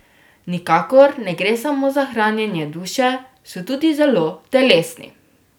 Nikakor ne gre samo za hranjenje duše, so tudi zelo telesni.